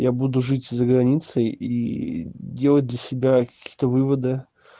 я буду жить за границей и делать для себя какие-то выводы